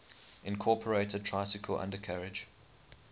incorporated tricycle undercarriage